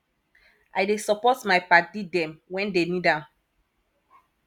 i dey support my paddy dem wen dey need am